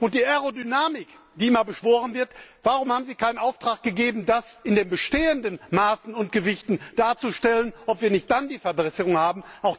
Und die Aerodynamik, die immer beschworen wird warum haben Sie keinen Auftrag gegeben, das in den bestehenden Maßen und Gewichten darzustellen, um festzustellen, ob wir nicht dann eine Verbesserung haben?